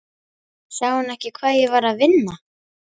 Sá hann ekki að ég var að vinna?